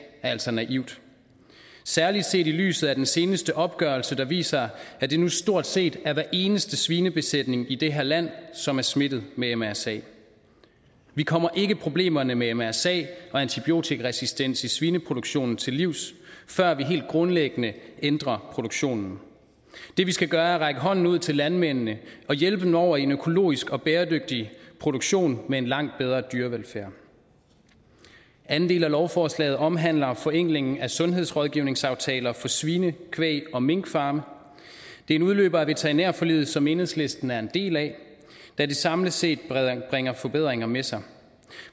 er altså naivt særlig set i lyset af den seneste opgørelse der viser at det nu stort set er hver eneste svinebesætning i det her land som er smittet med mrsa vi kommer ikke problemerne med mrsa og antibiotikaresistens i svineproduktionen til livs før vi helt grundlæggende ændrer produktionen det vi skal gøre er at række hånden ud til landmændene og hjælpe dem over i en økologisk og bæredygtig produktion med en langt bedre dyrevelfærd anden del af lovforslaget omhandler forenklingen af sundhedsrådgivningsaftaler for svine kvæg og minkfarme det er en udløber af veterinærforliget som enhedslisten er en del af da det samlet set bringer forbedringer med sig